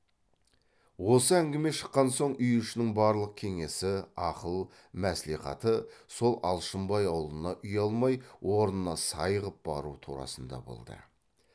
осы әңгіме шыққан соң үй ішінің барлық кеңесі ақыл мәслихаты сол алшынбай аулына ұялмай орнына сай ғып бару турасында болды